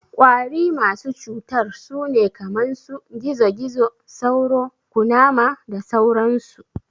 Ƙwari masu cutar sune kaman su, gizo-gizo, sauro, Ƙunama da sauran su